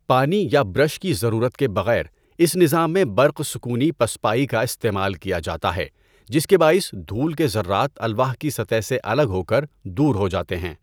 پانی یا برش کی ضرورت کے بغیر، اِس نظام میں برق سکونی پسپائی کا استعمال کیا جاتا ہے جس کے باعث دھول کے ذرات الواح کی سطح سے الگ ہو کر دور ہو جاتے ہیں۔